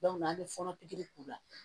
an bɛ fɔɔnɔ pikiri k'u la